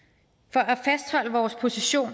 for at fastholde vores position